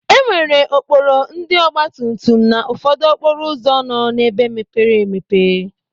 E nwere okporo ndị ọgbatumtum na ụfọdụ okporo ụzọ nọ n'ebe mepere emepe.